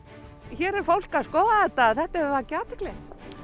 hér er fólk að skoða þetta þetta hefur vakið athygli